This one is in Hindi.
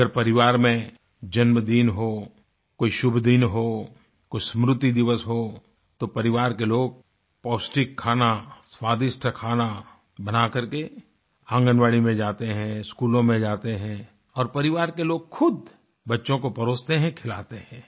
अगर परिवार में जन्मदिन हो कोई शुभदिन हो कोई स्मृति दिवस हो तो परिवार के लोग पौष्टिक खाना स्वादिष्ट खाना बनाकर के आंगनवाड़ी में जाते हैं स्कूलों में जाते हैं और परिवार के लोग खुद बच्चों को परोसते हैं खिलाते हैं